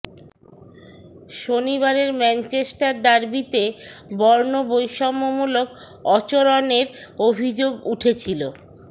শনিবারের ম্যাঞ্চেস্টার ডার্বিতে বর্ণ বৈষম্য মূলক অচরণের অভিযোগ উঠেছিল